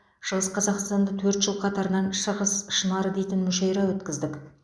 шығыс қазақстанда төрт жыл қатарынан шығыс шынары дейтін мүшайра өткіздік